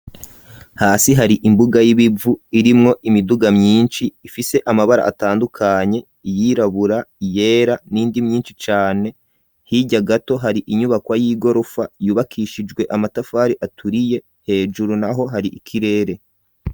Hasi hari imbuga y'ibivu, irimwo imiduga myinshi, ifise amabara atandukanye, iyirabura, iyera, n'indi myinshi cane; hirya gato, hari inyubakwa y'igorofa, yubakishijwe amatafari aturiye; hejuru naho, hari ikirere.